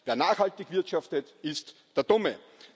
wer nachhaltig wirtschaftet, ist der Dumme.